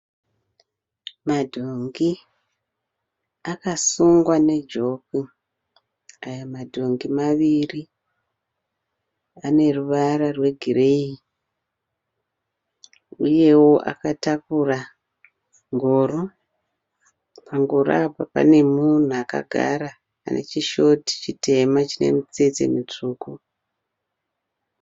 Madhongi akasungwa nejoku. Aya madhongi maviri ane ruvara rwegireyi uyewo akatakura ngoro. Pangoro apa pane munhu akagara ane chishoti chitema chine mitsetse mitsvuku.